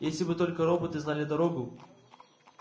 если бы только роботы знали дорогу